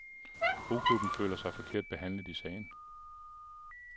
Roklubben føler sig forkert behandlet i sagen.